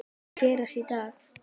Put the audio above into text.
Hvað mun gerast í dag?